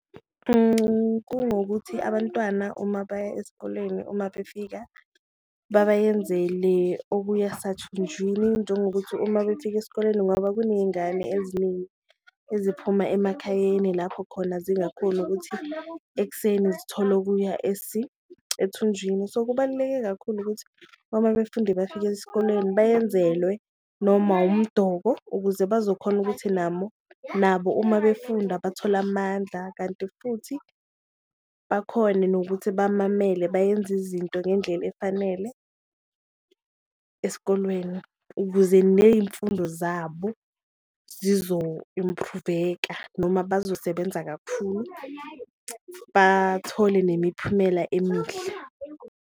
Kunokuthi abantwana uma baya esikolweni uma befika babayenzele okuya sathunjini, njengokuthi uma befika esikoleni ngoba kuneyingane eziningi eziphuma emakhayeni lapho khona zingakhoni ukuthi ekuseni zithole okuya ethunjini. So, kubaluleke kakhulu ukuthi uma befundi bafika esikolweni bayenzelwe noma umdoko ukuze bazokhona ukuthi namo nabo uma befunda bathole amandla, kanti futhi bakhone nokuthi bamamele bayenze izinto ngendlela efanele esikolweni. Ukuze neyimfundo zabo zizo-improve-eka noma bazosebenza kakhulu bathole nemiphumela emihle.